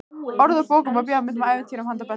Orð úr bókum og bíómyndum, ævintýrum handa börnum.